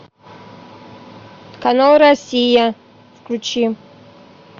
канал россия включи